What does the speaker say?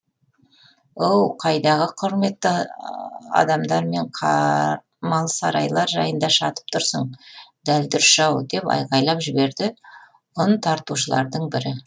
оу қайдағы құрметті адамдар мен сарайлар жайында шатып тұрсың дәлдүріш ау деп айқайлап жіберді ұн тартушылардың бірі